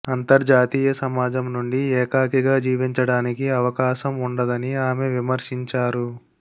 అంతర్జాతీయ సమాజం నుండి ఏకాకిగా జీవించడానికి అవకాశం ఉండదని ఆమె విమర్శించారు